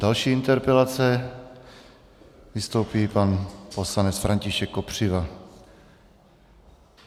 Další interpelace: vystoupí pan poslanec František Kopřiva.